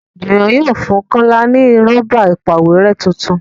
Juwon yóò fún kola ní Rọ́bà ìpàwérẹ́ títún.